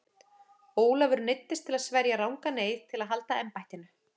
Ólafur neyddist til að sverja rangan eið til að halda embættinu.